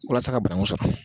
Walasa ka bananku sɔrɔ